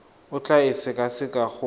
o tla e sekaseka go